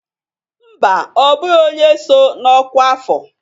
Mba, ọ bụghị onye so na ọkwa afọ